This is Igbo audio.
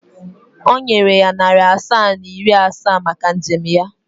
Ọ nyere ya narị asaa na iri asaa maka njem ya.